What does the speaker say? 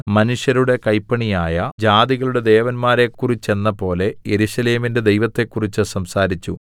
മനുഷ്യരുടെ കൈപ്പണിയായ ജാതികളുടെ ദേവന്മാരെക്കുറിച്ചെന്നപോലെ യെരൂശലേമിന്റെ ദൈവത്തെക്കുറിച്ച് സംസാരിച്ചു